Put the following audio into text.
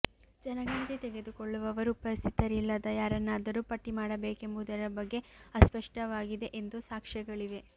ಜನಗಣತಿ ತೆಗೆದುಕೊಳ್ಳುವವರು ಉಪಸ್ಥಿತರಿಲ್ಲದ ಯಾರನ್ನಾದರೂ ಪಟ್ಟಿ ಮಾಡಬೇಕೆಂಬುದರ ಬಗ್ಗೆ ಅಸ್ಪಷ್ಟವಾಗಿದೆ ಎಂದು ಸಾಕ್ಷ್ಯಗಳಿವೆ